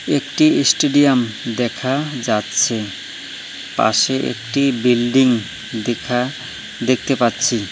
একটি ইস্টেডিয়াম দেখা যাচ্ছে পাশে একটি বিল্ডিং দেখা দেখতে পাচ্ছি।